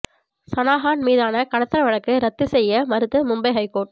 சனா கான் மீதான கடத்தல் வழக்கை ரத்து செய்ய மறுத்த மும்பை ஹைகோர்ட்